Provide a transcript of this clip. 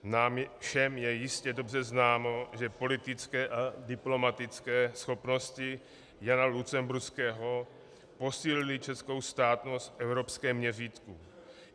Nám všem je jistě dobře známo, že politické a diplomatické schopnosti Jana Lucemburského posílily českou státnost v evropském měřítku.